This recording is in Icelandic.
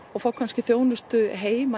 og fá kannski þjónustu heim að